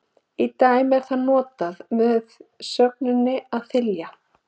Í dæminu er það notað með sögninni að þylja.